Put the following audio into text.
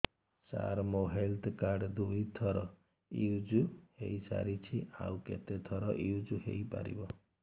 ସାର ମୋ health card ଦୁଇ ଥର ୟୁଜ଼ ହୈ ସାରିଛି ଆଉ କେତେ ଥର ୟୁଜ଼ ହୈ ପାରିବ